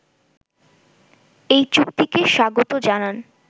এই চুক্তিকে স্বাগত জানান